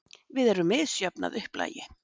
Við erum misjöfn að upplagi.